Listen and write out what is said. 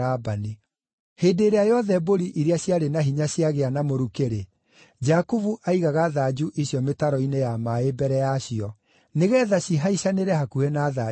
Hĩndĩ ĩrĩa yothe mbũri iria ciarĩ na hinya ciagĩa na mũrukĩ-rĩ, Jakubu aigaga thanju icio mĩtaro-inĩ ya maaĩ mbere yacio, nĩgeetha cihaicanĩre hakuhĩ na thanju icio;